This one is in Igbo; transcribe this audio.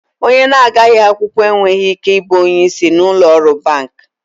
Onye na-agaghi akwụkwọ enweghị ike ị bụ onye isi n'ụlọ ọrụ banki.